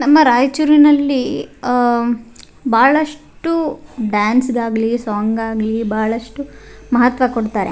ನಮ್ಮ ರಾಯಚೂರಿನಲ್ಲಿ ಆಹ್ಹ್ ಬಹಳಷ್ಟು ಡಾನ್ಸ್ಗಾಗ್ಲಿ ಸಾಂಗ್ಗಾಗ್ಲಿ ಬಹಳಷ್ಟು ಮಹತ್ವ ಕೊಡ್ತಾರೆ.